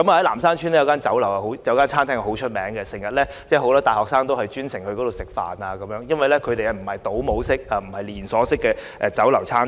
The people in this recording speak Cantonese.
南山邨有一間餐廳很有名，經常有很多大學生前往光顧，因為那不是倒模式或連鎖式經營的酒樓或餐廳。